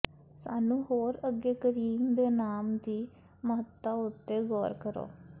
ਸਾਨੂੰ ਹੋਰ ਅੱਗੇ ਕਰੀਮ ਦੇ ਨਾਮ ਦੀ ਮਹੱਤਤਾ ਉੱਤੇ ਗੌਰ ਕਰੋ